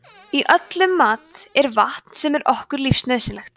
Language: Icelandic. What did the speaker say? í öllum mat er vatn sem er okkur lífsnauðsynlegt